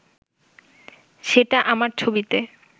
সেটা আমার ছবিতে